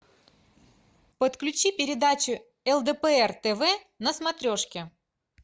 подключи передачу лдпр тв на смотрешке